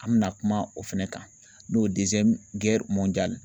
An MIna kuma o fana kan n'o